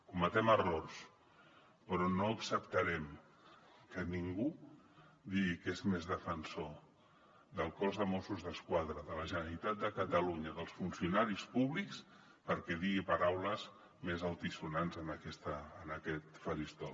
cometem errors però no acceptarem que ningú digui que és més defensor del cos de mossos d’esquadra de la generalitat de catalunya dels funcionaris públics perquè digui paraules més altisonants en aquest faristol